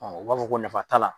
U b'a fɔ ko nafa t'a la.